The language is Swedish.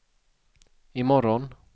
imorgon